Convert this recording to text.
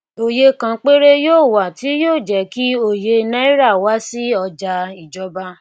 òye kan péré yóò wa tí yóò jẹ kí òye náírà wá sí ọjà ìjọba